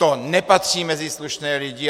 To nepatří mezi slušné lidi.